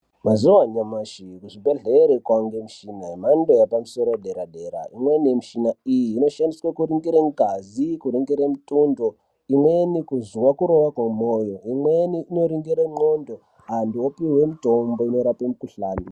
Mazuva anyashi kuzvibhedhlera kwaane michina yemhando yepamusoro dera dera imweni yemichina iyi inoshandiswa kuringire ngazi, kuringire mutundo, imweni kuzwa kurova kwemoyo, imweni inoringire ndxondo antu opihwe mitombo inorape mukuhlani .